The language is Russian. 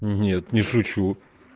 нет не шучу